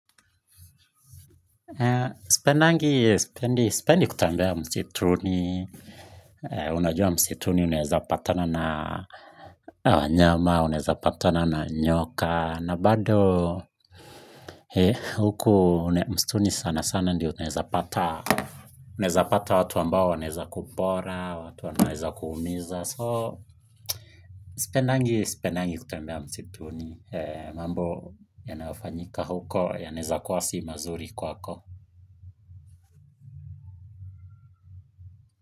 Sipendangi, sipendi kutembea msituni unajua msituni unaweza patana na wanyama, unaweza patana na nyoka na bado, huku msituni sana sana ndio unawezapata unaweza pata watu ambao wanaweza kupora, watu wanaweza kuumiza. So, sipendangi, sipendangi kutembea msituni mambo yanaofanyika huko, yanaweza kuwa si mazuri kwako.